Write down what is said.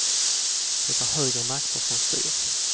Det är högre makter som styr.